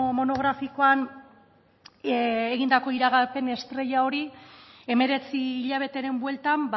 monografikoan egindako iragarpen estrella hori hemeretzi hilabeteren bueltan